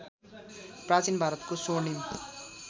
प्राचीन भारतको स्वर्णिम